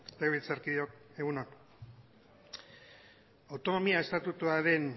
legebiltzarkideok egun on autonomia estatutuaren